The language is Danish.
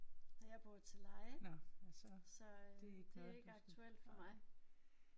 Nej jeg bor til leje så det er ikke aktuelt for mig